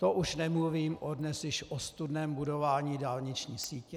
To už nemluvím o dnes již ostudném budování dálniční sítě.